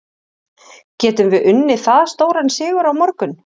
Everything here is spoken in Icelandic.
Getum við unnið það stóran sigur á morgun?